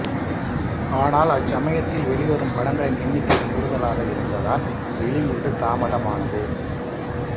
ஆனால் அச்சமயத்தில் வெளிவரும் படங்களின் எண்ணிக்கை கூடுதலாக இருந்ததால் வெளியீடு தாமதமானது